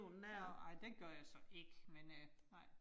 Nåh nej, det gør jeg så ikke, men øh nej